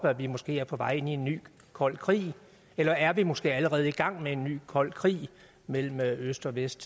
at vi måske er på vej ind i en ny kold krig eller er vi måske allerede i gang med en ny kold krig mellem øst og vest